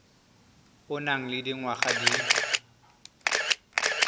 o nang le dingwaga di